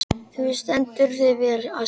Þú stendur þig vel, Ásný!